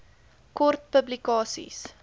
kort publikasie